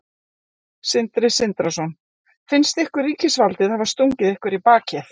Sindri Sindrason: Finnst ykkur ríkisvaldið hafa stungið ykkur í bakið?